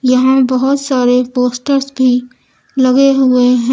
यहां बहुत सारे पोस्टर्स भी लगे हुए हैं।